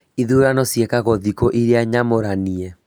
Ithurano ciĩkagwo thikũ iria nyamũranie